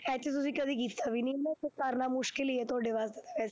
ਇੱਥੇ ਤੁਸੀਂ ਕਦੇ ਕੀਤਾ ਵੀ ਨੀ ਨਾ ਤੇ ਕਰਨਾ ਮੁਸਕਲ ਹੀ ਹੈ ਤੁਹਾਡੇ ਵਾਸਤੇ।